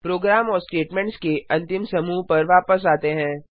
programme और statements के अंतिम समूह पर वापस आते हैं